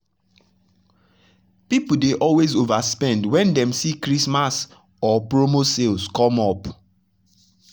people dey always overspend when dem see christmas or promo sales come up.